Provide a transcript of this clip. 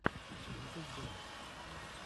ютуб дэникс